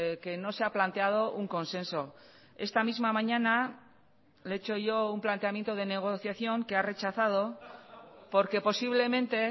que no se ha planteado un consenso esta misma mañana le he hecho yo un planteamiento de negociación que ha rechazado porque posiblemente